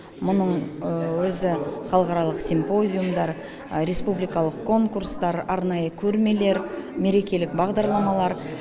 мұның өзі халықаралық симпозиумдар республикалық конкурстар арнайы көрмелер мерекелік бағдарламалар